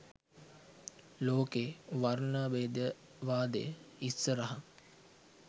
ලෝකෙ වර්ණභේදවාදය ඉස්සරහ